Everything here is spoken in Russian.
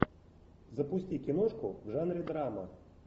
запусти киношку в жанре драма